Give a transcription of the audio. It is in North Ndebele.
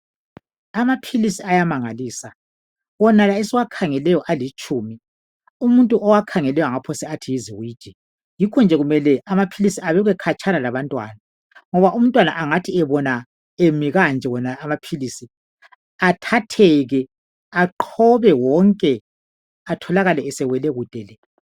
Amaphilisi ayamangalisa, wonala esiwakhangeleyo alitshumi. Umuntu owakhangeleyo angaphose athi yiziwiji. Yikho nje kumele amaphilisi, abekwe khatshana labantwana, Ngoba umntwana angathi ebona emi kanje wonala amaphilisi, athatheke. Aqhobe wonke! Atholakale esewele kude le!